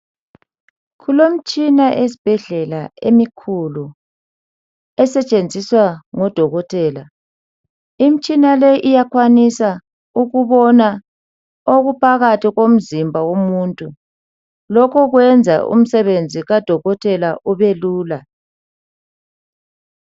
Kulomtshina esibhedlela emikhulu, esetshenziswa ngodokotela. Imitshina leyi iyakwanisa ukubona okuphakathi komzimba womuthu. Lokho kuyenza umsebenzi kabodokotela ubelula.